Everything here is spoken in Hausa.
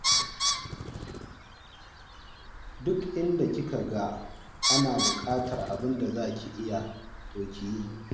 Duk inda kika ga ana buƙatar abin da za ki iya, to ki yi.